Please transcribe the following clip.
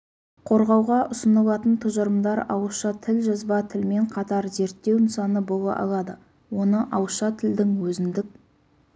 қорғауға ұсынылатын тұжырымдар ауызша тіл жазба тілмен қатар зерттеу нысаны бола алады оны ауызша тілдің өзіндік